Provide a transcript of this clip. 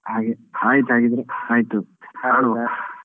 ಹಾಗೆ ಆಯ್ತ್ ಹಾಗಿದ್ರೆ ಆಯ್ತು .